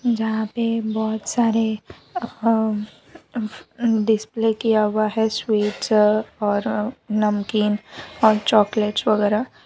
जहाँ पे बहुत सारे अह ऊहं डिस्प्ले किया हुआ है स्वीट्स औ-और नमकीन और चॉकलेट्स वगैरा।